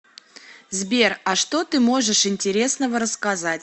сбер а что ты можешь интересного рассказать